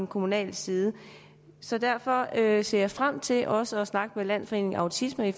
kommunal side så derfor ser ser jeg frem til også at snakke med landsforeningen autisme